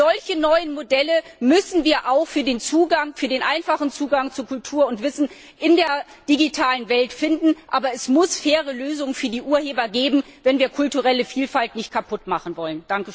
Solche neuen Modelle müssen wir auch für den einfachen Zugang zu Kultur und Wissen in der digitalen Welt finden. Aber es muss faire Lösungen für die Urheber geben, wenn wir die kulturelle Vielfalt nicht kaputtmachen wollen.